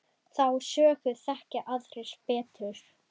Þá sögu þekkja aðrir betur.